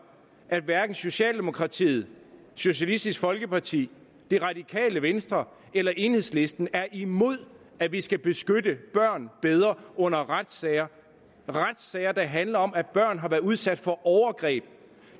at hverken socialdemokratiet socialistisk folkeparti det radikale venstre eller enhedslisten er imod at vi skal beskytte børn bedre under retssager retssager der handler om at børn har været udsat for overgreb